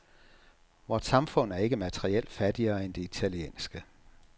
Vort samfund er ikke materielt fattigere end det italienske.